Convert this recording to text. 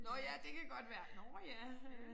Nåh ja det kan godt være nåh ja øh